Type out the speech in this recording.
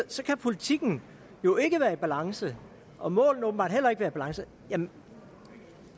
så kan politikken jo ikke være i balance og målene åbenbart heller ikke være i balance men